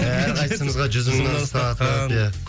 әрқайсысымызға жүз мыңнан ұстатқан иә